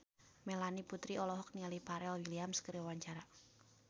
Melanie Putri olohok ningali Pharrell Williams keur diwawancara